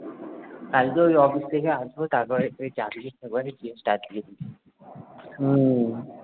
কালকে ওই office থেকে আসব তারপরে উই চাবি হম